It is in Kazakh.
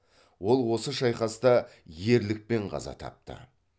ол осы шайқаста ерлікпен қаза тапты